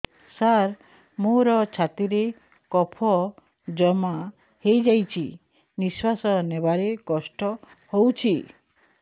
ସାର ମୋର ଛାତି ରେ କଫ ଜମା ହେଇଯାଇଛି ନିଶ୍ୱାସ ନେବାରେ କଷ୍ଟ ହଉଛି